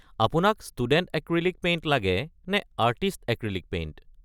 আপোনাক student acrylic paint লাগে নে আৰ্টিষ্ট এক্ৰীলিক পেইণ্ট?